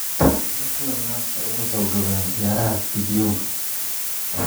La kulan naagta ugu xoogga badan ciyaaraha fiidiyowga